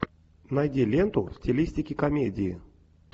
найди ленту в стилистике комедии